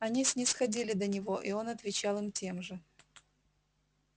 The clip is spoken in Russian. они снисходили до него и он отвечал им тем же